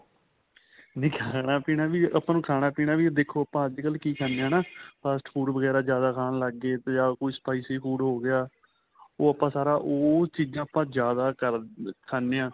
ਨਹੀਂ ਖਾਣਾ ਪੀਣਾ ਵੀ ਆਪਾਂ ਨੂੰ ਖਾਣਾ ਪੀਣਾ ਵੀ ਦੇਖੋ ਆਪਾਂ ਅੱਜਕਲ ਕੀ ਖਾਣੇ ਹਾਂ ਹਨਾ fast food ਵਗੇਰਾ ਜਿਆਦਾ ਖਾਣਾ ਲੱਗ ਗਏ ਜਾਂ ਕੁੱਛ spicy food ਹੋ ਗਿਆ ਉਹ ਆਪਾਂ ਸਾਰਾ ਉਹ ਚੀਜ਼ਾਂ ਆਪਾਂ ਜਿਆਦਾ ਕਰਦੇ ਖਾਣੇ ਹਾਂ